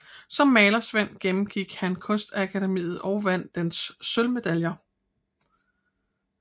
Som malersvend gennemgik han Kunstakademiet og vandt dets sølvmedaljer